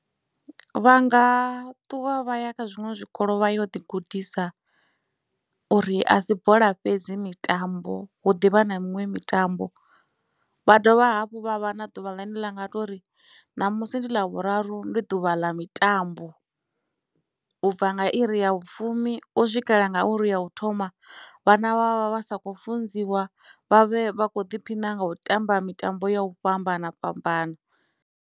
Vhanga ṱuwa vha ya kha zwiṅwe zwikolo vha yo ḓi gudisa uri a si bola fhedzi mitambo hu ḓivha na miṅwe mitambo vha dovha hafhu vha vha na ḓuvha ḽine vha nga tori ṋamusi ndi ḽavhuraru ndi ḓuvha ḽa mitambo u bva nga iri ya vhufumi u swikela nga iri ya u thoma vhana vha vha vha sa khou funziwa vha vhe vha kho ḓiphina nga u tamba mitambo ya u fhambana fhambana.